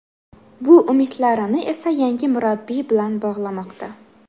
Bu umidlarini esa yangi murabbiy bilan bog‘lamoqda.